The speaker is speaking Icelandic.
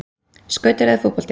Skautar eða fótbolti?